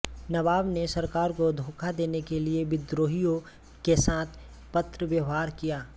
नवाब ने सरकार को धोखा देने के लिए विद्रोहियों के साथ पत्र व्यवहार किया